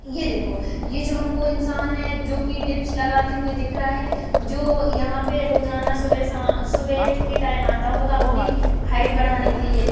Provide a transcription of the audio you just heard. ये देखो ये जो हमको इंसान है जो की डिप्स लगाते हुए दिख रहा है जो यहां पे रोजाना सुबह-शाम शाम के टाइम आता होगा अपनी हाइट बढ़ाने के लिए।